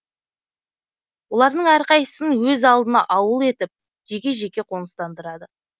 олардың әрқайсысын өз алдына ауыл етіп жеке жеке қоныстандырады